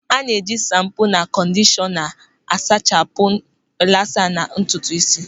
A na-eji shampo na kọndishọna a sachapụ rilasa na ntutu ísí.